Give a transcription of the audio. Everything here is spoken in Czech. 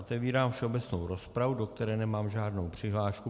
Otevírám všeobecnou rozpravu, do které nemám žádnou přihlášku.